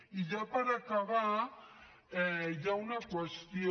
i ja per acabar hi ha una qüestió